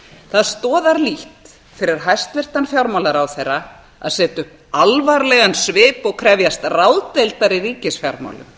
það stoðar lítt fyrir hæstvirtan fjármálaráðherra að setja upp alvarlegan svip og krefjast ráðdeildar í ríkisfjármálum þegar